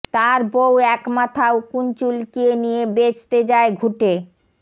তার বৌ একমাথা উকুন চুলকিয়ে নিয়ে বেচতে যায় ঘুঁটে